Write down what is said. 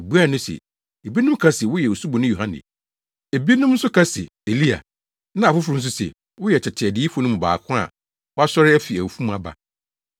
Wobuaa no se, “Ebinom ka se, woyɛ Osuboni Yohane, ebinom nso ka sɛ Elia, na afoforo nso se, woyɛ tete adiyifo no mu baako a wasɔre afi awufo mu aba.”